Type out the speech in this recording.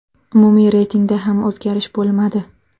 Umumiy reytingda ham o‘zgarish bo‘lmadi.